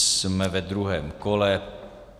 Jsme ve druhém kole.